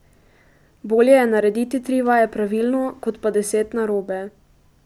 Bolje je narediti tri vaje pravilno kot pa deset narobe.